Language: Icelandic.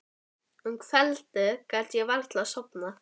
Um kvöldið gat ég varla sofnað.